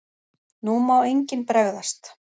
NÚ MÁ ENGINN BREGÐAST!